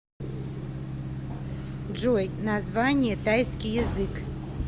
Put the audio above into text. джой название тайский язык